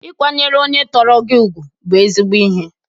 Ịkwanyere onye tọrọ gị ugwu bụ ezigbo ihe.